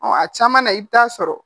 a caman na i bɛ taa sɔrɔ